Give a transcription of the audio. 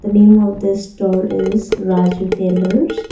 name of the store is raju tailors.